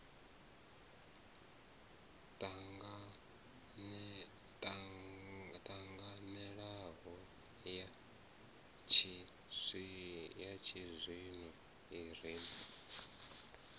ṱanganelanaho ya tshizwino i re